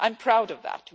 I'm proud of that.